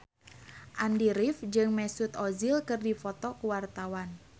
Andy rif jeung Mesut Ozil keur dipoto ku wartawan